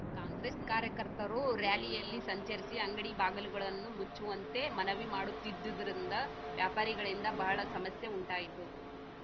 ಕಾಂಗ್ರೆಸ್‌ ಕಾರ್ಯಕರ್ತರು ರಾಯಲಿಯಲ್ಲಿ ಸಂಚರಿಸಿ ಅಂಗಡಿ ಬಾಗಿಲುಗಳನ್ನು ಮುಚ್ಚುವಂತೆ ಮನವಿ ಮಾಡುತ್ತಿದ್ದುದರಿಂದ ವ್ಯಾಪಾರಿಗಳಿಂದ ಬಹಳ ಸಮಸ್ಯೆ ಉಂಟಾಯಿತು